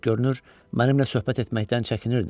Görünür, mənimlə söhbət etməkdən çəkinirdi.